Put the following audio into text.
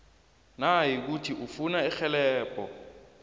nayikuthi ufuna irhelebho